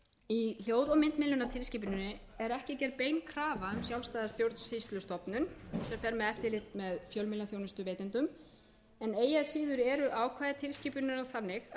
í hljóð og myndmiðlunartilskipuninni er ekki gerð bein krafa um sjálfstæða stjórnsýslustofnun sem fer með eftirlit með fjölmiðlaþjónustuveitendum en eigi að síður eru ákvæði tilskipunarinnar þannig að